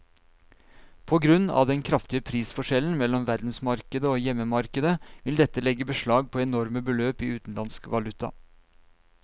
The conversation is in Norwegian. På grunn av den kraftige prisforskjellen mellom verdensmarkedet og hjemmemarkedet vil dette legge beslag på enorme beløp i utenlandsk valuta.